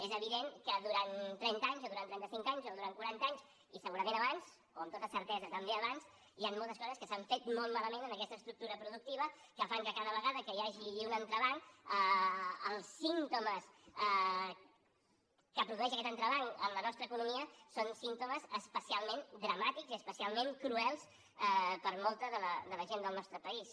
és evident que durant trenta anys o durant trenta cinc anys o durant quaranta anys i segurament abans o amb tota certesa també abans hi han moltes coses que s’han fet molt malament en aquesta estructura productiva que fan que cada vegada que hi hagi un entrebanc els símptomes que produeix aquest entrebanc en la nostra economia són símptomes especialment dramàtics i especialment cruels per a molta de la gent del nostre país